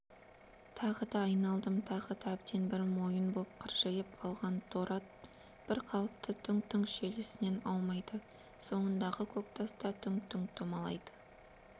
тағы да айналдым тағы да әбден бір мойын боп қыржиып алған торы ат бір қалыпты дүңк-дүңк желісінен аумайды соңындағы көктас та дүңк-дүңк домалайды